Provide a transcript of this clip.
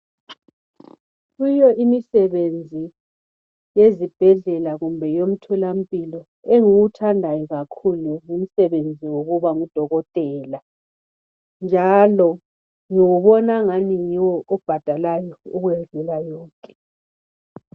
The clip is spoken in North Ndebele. Kuyo imisebenzi yezibhedlela kumbe yomtholampilo enguwuthandayo kakhulu yikuba ngudokotela njalo ngibona angani yiwo obhadalayo ukwedlula yonke.